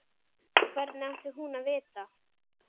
Hvernig átti hún að vita-?